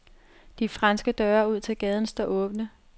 De franske døre ud til gaden står åbne.